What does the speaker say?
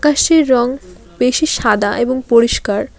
আকাশের রং বেশি সাদা এবং পরিষ্কার।